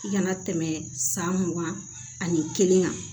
I kana tɛmɛ san mugan ani kelen kan